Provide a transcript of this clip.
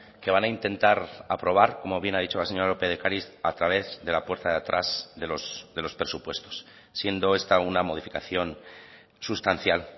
que van a intentar aprobar como bien ha dicho la señora lópez de ocariz a través de la puerta de atrás de los presupuestos siendo esta una modificación sustancial